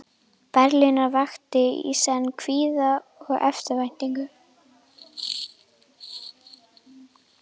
Berlínar vakti í senn kvíða og eftirvæntingu.